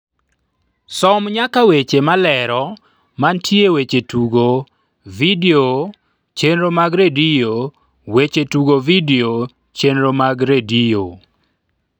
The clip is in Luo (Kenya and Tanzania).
som nyaka weche malero mantie weche tugo vidio chenro mag redio weche tugo vidio chenro mag redio